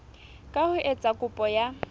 ka ho etsa kopo ya